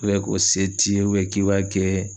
ko se t'i ye k'i b'a kɛɛ